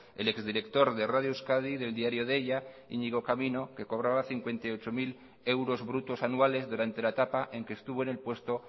el ex director de radio euskadi y del diario deia íñigo camino que cobraba cincuenta y ocho mil euros brutos anuales durante la etapa en que estuvo en el puesto